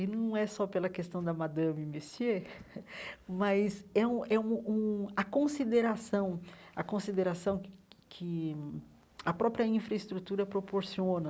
E não é só pela questão da Madame Messier, mas é um é um um a consideração a consideração que a própria infraestrutura proporciona.